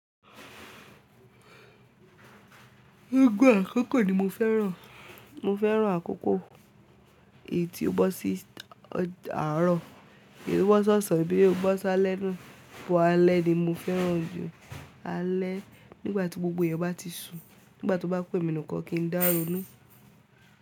Gbogbo àkókò ni mo fẹ́ràn. Mo fẹ́ràn àkókò èyí tí ó bọ́ sí àárọ̀, èyí tí ó bọ́ ṣọsan, boya o bọ́ s'álẹ́ naá. But alẹ́ ni mo fẹ́ràn jù. Alẹ́ nígbà tí gbogbo èèyàn bá ti sùn, nígbà tó bá ku emi nìkan kí n dá ronú.